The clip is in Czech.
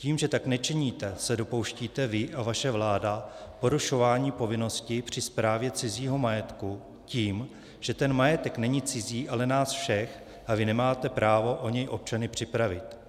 Tím, že tak nečiníte, se dopouštíte vy a vaše vláda porušování povinnosti při správě cizího majetku tím, že ten majetek není cizí, ale nás všech, a vy nemáte právo o něj občany připravit.